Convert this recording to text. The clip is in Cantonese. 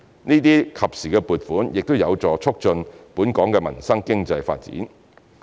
這些及時撥款亦有助促進本港民生經濟發展。